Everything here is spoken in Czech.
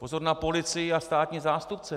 Pozor na policii a státní zástupce!